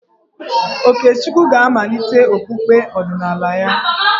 Okechukwu ga-amalite okpukpe ọdịnala ya.